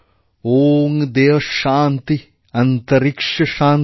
ওঁ দয়ৌ শান্তিঃ অন্তরীক্শ শান্তিঃ